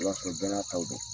I b'a sɔrɔ bɛɛ n'a taw don.